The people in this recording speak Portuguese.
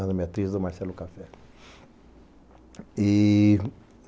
A Ana Beatriz e o Marcelo Café.